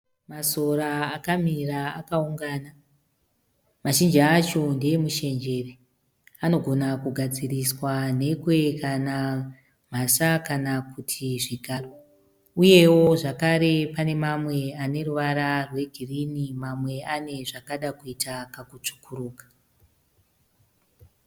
Masora akamira akaungana. Mazhinji acho ndeemushenjere. Anogona kugadziriswa nhekwe kana mhasa kana kuti zvigaro. Uyewo zvakare pane mamwe aneruvara rwegirinhi mamwe zvakada kuita kakutsvukurika.